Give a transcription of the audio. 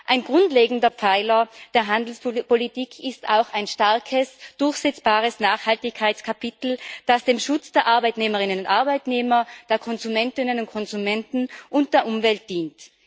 Ein grundlegender Pfeiler der Handelspolitik ist auch ein starkes, durchsetzbares Nachhaltigkeitskapitel, das dem Schutz der Arbeitnehmerinnen und Arbeitnehmer, der Konsumentinnen und Konsumenten und der Umwelt dient.